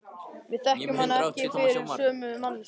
Við þekkjum hana ekki fyrir sömu manneskju.